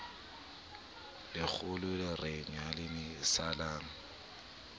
lekgolo re nyalane ho salang